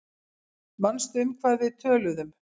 Manstu um hvað við töluðum?